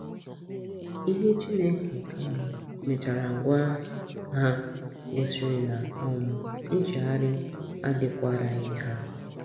Ihe Chineke um mechara gwa ha gosiri na um nchegharị adịkwaraghị ha.